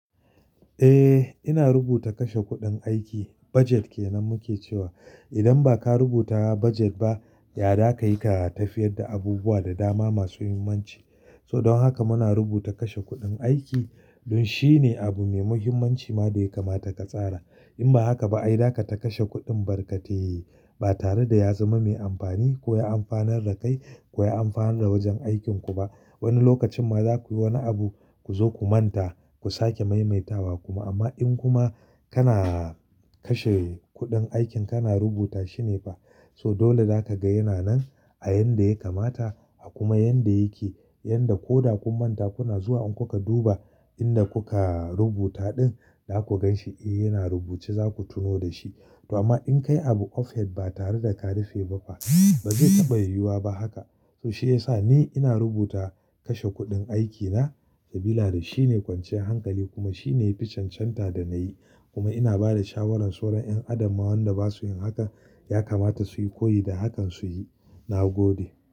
Eh, ina rubuta kashe kuɗin aiki, budget kenan muke cewa. Idan baka rubuta budget ba, ya zakai ka tafiyar da abubuwa da dama masu muhimmanci. So don haka muna rubuta kashe kuɗin aiki, don shi ne abu mai muhimmanci ma da ya kamata ka tsara. In ba haka ba, ai zakai ta kashe kuɗin barkate. Ba tare da ya zama mai amfani ko ya amfanar da kai, ko ya amfanar da wajen aikinku ba. Wani lokacin ma za ku yi wani abu ku zo ku manta, ku sake maimaitawa kuma. Amma in kuma kana kashe kuɗin aikin kana rubuta shine fa. So dole zaka ga yana nan a yanda ya kamata, a kuma yanda yake, yanda ko da kun manta kuna zuwa in kuka duba inda kuka rubuta ɗin, za ku gan shi eh yana rubuce za ku tuno da shi. To amma in ka yi abu offhead ba tare da ka rufe ba fa, ba zai taɓa yiwuwa ba haka. So shi ya sa ni ina rubuta kashe kuɗin aikina, saboda shi ne kwanciyar hankali kuma shi ne yafi chanchanta da na yi. Kuma ina ba da shawarar sauran 'yan adam ma wanda ba su yin haka, ya kamata su yi, ko yi da hakan su yi. Na gode.